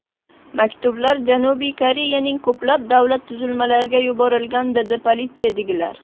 Maktublar Janubiy Koreyaning ko‘plab davlat tuzilmalariga yuborilgan”, dedi politsiyadagilar.